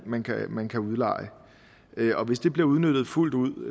man kan man kan udleje i og hvis det bliver udnyttet fuldt ud